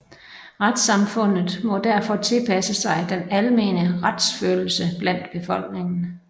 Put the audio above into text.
Retssamfundet må derfor tilpasse sig den almene retsfølelse blandt befolkningen